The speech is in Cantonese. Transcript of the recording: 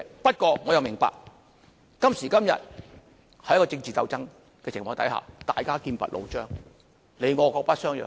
不過，我也明白，今時今日，在一個政治鬥爭的情況下，大家劍拔弩張、各不相讓。